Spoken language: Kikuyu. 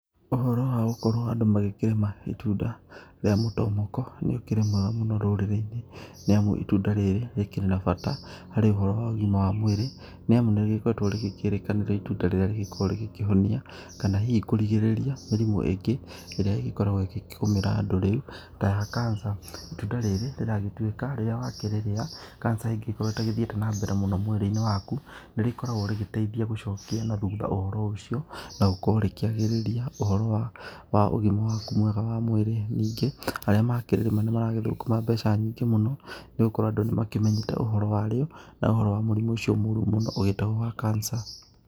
Ũhoro wa gũkorwo andũ magĩkĩrĩma itunda rĩa mũtomoko nĩ ũkĩrĩ mwega rũrĩrĩ-inĩ nĩamu itunda rĩrĩ rĩkĩrĩ na bata harĩ ũhoro wa ũgima wa mwĩrĩ niamu nĩ rĩgĩkoretwo rĩkĩrĩkana rĩrĩ itunda rĩrĩa rĩgĩkoragwo rĩkĩhonia kana hihi kũrigĩrĩria mĩrimũ ingĩ ĩrĩa ĩgĩkoragwo ĩgĩkĩgũmĩra andũ rĩu ta ya cancer, itunda rĩrĩ rĩragĩtuĩka rĩrĩa wakĩrĩria cancer itagĩkorwo ĩthiĩte na mbere mũno mwĩrĩ-inĩ waku nĩ rĩkoragwo rĩgĩteithia gũcokia na thũtha ũhoro ũcio na gũkorwo rĩkĩagĩrĩria ũhoro wa ũgĩma waku wa mwĩrĩ ningĩ arĩa marakĩrĩma nĩ marathũkũma mbeca nyingĩ mũno nĩgũkorwo andũ nĩ makĩmenyete ũhoro warĩo na ũhoro wa mũrimũ ũcio mũrũ mũno ũgĩtagwo wa cancer.